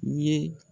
U ye